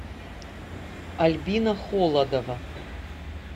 альбина холодова